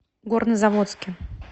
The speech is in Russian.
горнозаводске